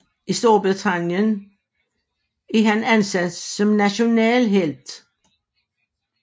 I Storbritannien er han anset som nationalhelt